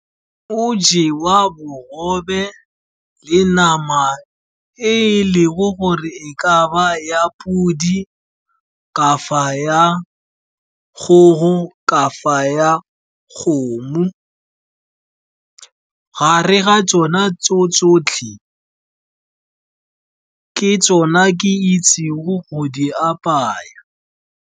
Go jewa bogobe le nama e e lego gore e ka nna ya podi, kafa ya kgogo, kafa ya kgomo. Gare ga tsona tso tsotlhe, ke tsona ke itsego go di apaya.